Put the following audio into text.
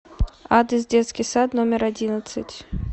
адрес детский сад номер одиннадцать